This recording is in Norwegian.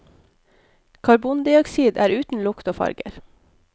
Karbondioksid er uten lukt og farge.